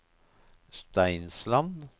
Steinsland